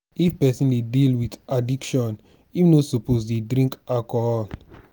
if person dey deal with addiction im no suppose to dey drink alcohol.